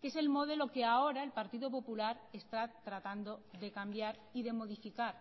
que es el modelo que ahora el partido popular está tratando de cambiar y de modificar